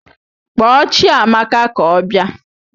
Kpọọ Chiamaka ka ọ bịa!